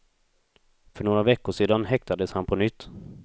För några veckor sedan häktades han på nytt.